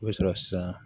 I bɛ sɔrɔ sisan